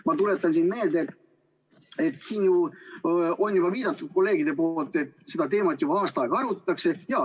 Ma tuletan meelde, et siin on kolleegid juba viidanud, et seda teemat on arutatud juba aasta aega.